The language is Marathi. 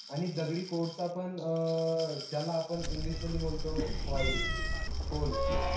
आणि दगडी कोळसा पण अं ज्याला आपण english मध्ये बोलतो coil coal